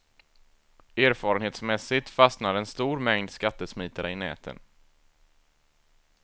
Erfarenhetsmässigt fastnar en stor mängd skattesmitare i näten.